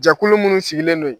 Jɛkulu munnu sigilen don ye